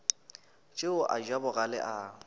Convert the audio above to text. tšeo a ja bogale a